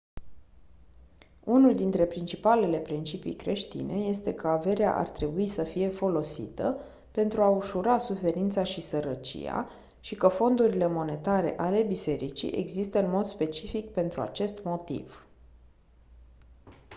unul dintre principalele principii creștine este că averea ar trebui să fie folosită pentru a ușura suferința și sărăcia și că fondurile monetare ale bisericii există în mod specific pentru acest motiv